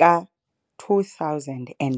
ka-2005.